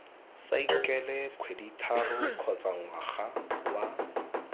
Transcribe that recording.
saekele kgwedithataro kgotsa ngwaga wa